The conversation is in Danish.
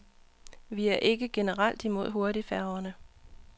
Vi er ikke generelt imod hurtigfærgerne.